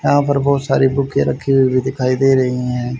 यहां पर बहोत सारी बुके रखी हुई भी दिखाई दे रही हैं।